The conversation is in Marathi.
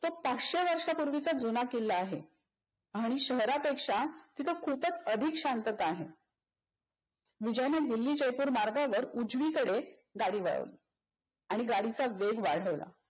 तो पाचशे वर्षंपूर्वीचा जूना किल्ला आहे आणि शहरापेक्षा तिथे खूपच अधिकच शांतता आहे. विजयने दिल्ली जयपूर मार्गावर उजवीकडे गाडी वळवली आणि गाडीचा वेग वाढवला.